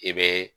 I bɛ